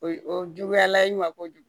O juguyala i ma kojugu